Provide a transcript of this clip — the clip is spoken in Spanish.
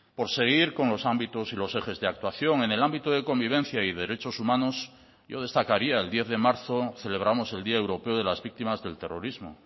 por seguir con los ámbitos y los ejes de actuación en el ámbito de convivencia y derechos humanos yo destacaría el diez de marzo celebramos el día europeo de las víctimas del terrorismo